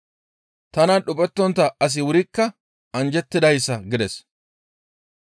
Tanan dhuphettontta asi wurikka anjjettidayssa» gides.